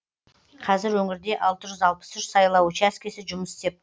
қазір өңірде алты жүз алпыс үш сайлау учаскесі жұмыс істеп